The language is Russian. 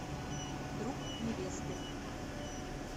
друг невесты